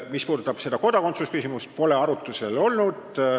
Mis puudutab kodakondsusküsimust, siis see pole arutlusel olnud.